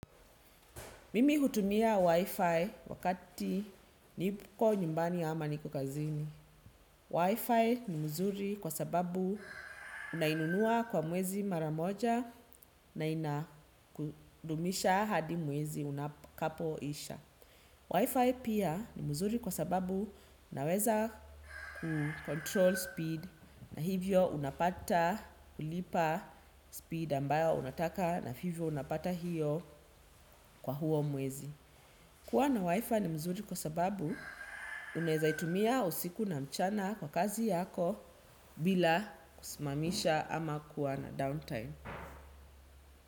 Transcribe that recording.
Mimi hutumia Wi-Fi wakati niko nyumbani ama niko kazini. Wi-Fi ni mzuri kwa sababu unai nunua kwa mwezi mara moja na inakudumisha hadi mwezi utakapo isha. Wi-Fi pia ni mzuri kwa sababu unaweza kukontrol speed na hivyo unapata ulilipa speed ambayo unataka na hivyo unapata hiyo kwa huo mwezi. Kuwa na waWIFI ni mzuri kwa sababu uneza itumia usiku na mchana kwa kazi yako bila kusimamisha ama kuwa na down time.